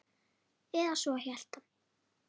Eða svo hélt hann.